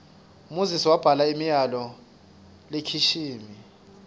moses wabhala imiyalol lekishimi